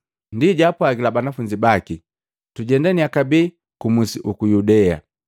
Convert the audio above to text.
Ndi jaapwagila banafunzi baki, “Tujendaniya kabee ku musi uku Yudea!”